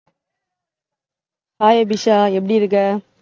hi Abisha, எப்படி இருக்க